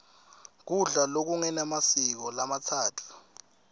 kudla lokungemasiko lamatsatfu